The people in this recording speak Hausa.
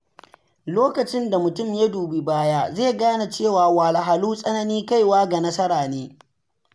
Lokacin da mutum ya dubi baya, zai gane cewa wahalhalu tsanin kaiwa ga nasara ne.